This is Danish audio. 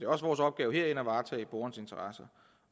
også vores opgave herinde at varetage borgernes interesser